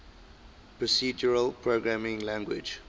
procedural programming languages